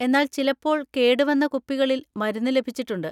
എന്നാൽ ചിലപ്പോൾ കേടുവന്ന കുപ്പികളിൽ മരുന്ന് ലഭിച്ചിട്ടുണ്ട്.